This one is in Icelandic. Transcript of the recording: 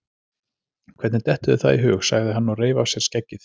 Hvernig dettur þér það í hug? sagði hann og reif af sér skeggið.